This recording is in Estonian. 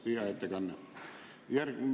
Tõesti hea ettekanne.